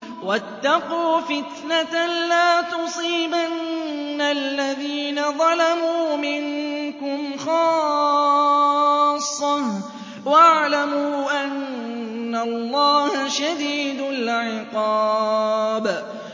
وَاتَّقُوا فِتْنَةً لَّا تُصِيبَنَّ الَّذِينَ ظَلَمُوا مِنكُمْ خَاصَّةً ۖ وَاعْلَمُوا أَنَّ اللَّهَ شَدِيدُ الْعِقَابِ